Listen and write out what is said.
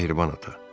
Mehriban ata.